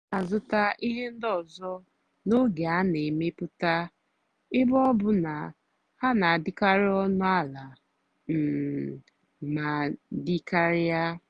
m nà-àzụ́tá íhé ndí ọ́zọ́ n'ógè á nà-èmepụ́tá ébé ọ́ bụ́ ná hà nà-àdì́karị́ ónú àlà um mà dì́ kàrị́á.